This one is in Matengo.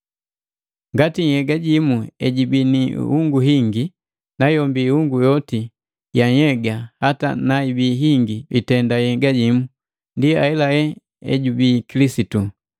Ngati nhyega jimu ejibii ni ihungu hingi, nayombi ihungu yoti ya nhyega hata naibi hingi itenda nhyega jimu, ndi ahelahe ejubii Kilisitu.